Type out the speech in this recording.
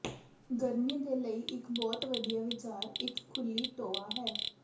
ਗਰਮੀ ਦੇ ਲਈ ਇੱਕ ਬਹੁਤ ਵਧੀਆ ਵਿਚਾਰ ਇਕ ਖੁੱਲੀ ਟੋਆ ਹੈ